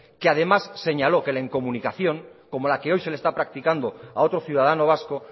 que además señaló que la incomunicación como la que hoy se le está practicando a otro ciudadano vasco